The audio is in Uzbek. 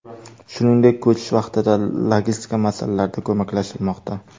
Shuningdek, ko‘chish vaqtida logistika masalalarida ko‘maklashilmoqda.